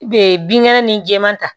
Be binkɛnɛ ni jɛman ta